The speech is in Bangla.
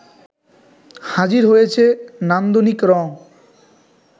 হাজির হয়েছে নান্দনিক রং